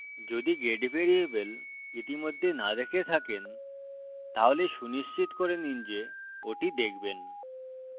যদি get variable ইতিমধ্যে না দেখে থাকেন তাহলে সুনিশ্চিত করে নিন যে ওটি দেখবেন